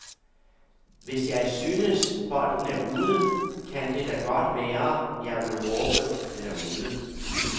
Hvis jeg synes, bolden er ude, kan det da godt være, jeg vil råbe den er ude.